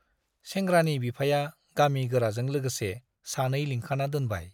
सेंग्रानि बिफाया गामि गोराजों लोगोसे सानै लिंखाना दोनबाय।